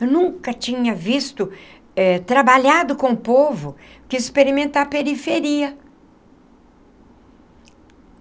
Eu nunca tinha visto, eh trabalhado com o povo, quis experimentar a periferia.